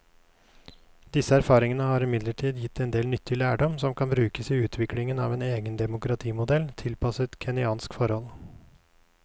Disse erfaringene har imidlertid gitt en del nyttig lærdom som kan brukes i utviklingen av en egen demokratimodell tilpasset kenyanske forhold.